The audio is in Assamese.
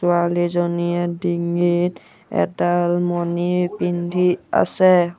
ছোৱালীজনীয়ে ডিঙিত এডাল মণি পিন্ধি আছে।